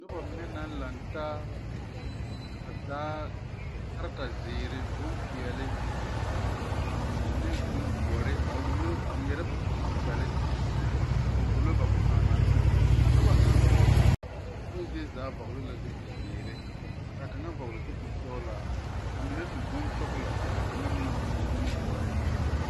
Noba mine naŋ lantaa ba taa la kareta zēēre boŋ peɛli ane boŋ dɔre a ŋmeɛrɛ ba posãã kpɛlle a wullo ba posãã naŋ seŋ lɛ ,a noba ŋa kpoŋ zie zaa vɔŋli zupil zēēre ka kaŋa vɔŋli zupil sɔŋlaa ka ba mine su boŋ sɔŋlɔ kyɛ ka kaŋa su boŋ dɔre.